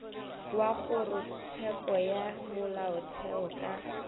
wa kgorotsheko ya molaotheo ka